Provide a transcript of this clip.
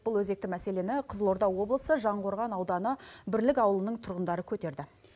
бұл өзекті мәселені қызылорда облысы жаңақорған ауданы бірлік ауылының тұрғындары көтерді